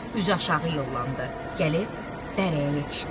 Üzü aşağı yollandı, gəlib dərəyə yetişdi.